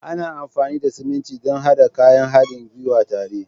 Ana amfani da siminti don haɗa kayan haɗin gwiwa tare.